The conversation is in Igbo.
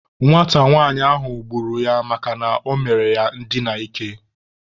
Nwata nwanyị ahụ gburu ya makana ọ mere ya ndina ike.